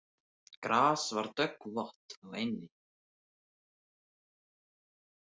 Gras var döggvott á eynni.